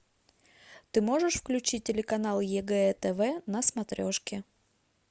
ты можешь включить телеканал егэ тв на смотрешке